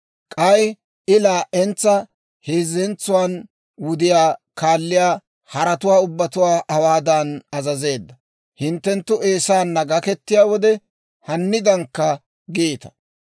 K'ay I laa'entsa heezzantsuwaan wudiyaa kaalliyaa haratuwaa ubbatuwaa hawaadan azazeedda; «Hinttenttu Eesaanna gaketiyaa wode, hanniidankka giita;